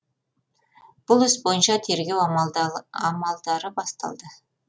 бұл іс бойынша тергеу амалдары басталды